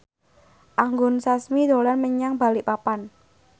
Anggun Sasmi dolan menyang Balikpapan